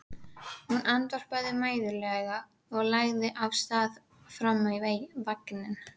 Hún andvarpaði mæðulega og lagði af stað fram í vagninn.